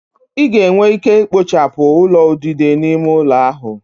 Ị ga-enwe ike ikpochapụ ulo udide n'ime ụlọ ahụ